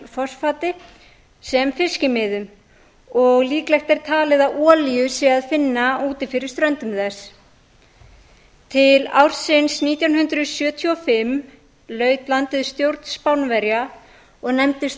fosfati sem fiskimiðum og líklegt er talið að olíu sé að finna úti fyrir ströndum þess til ársins nítján hundruð sjötíu og fimm laut landið stjórn spánverja og nefndist